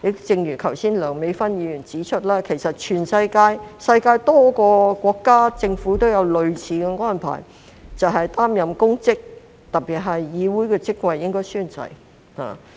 正如梁美芬議員剛才也指出，全世界多個國家或政府均有類似的安排，就是擔任公職，特別是議會的職位，便應該宣誓。